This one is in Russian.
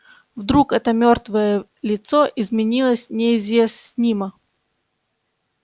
вдруг это мёртвое лицо изменилось неизъяснимо